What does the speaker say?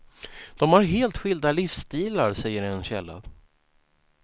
De har helt skilda livsstilar, säger en källa.